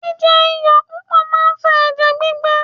Jíjẹ iyọ̀ púpọ̀ máa ń fa ẹ̀jẹ̀ gbígbẹ.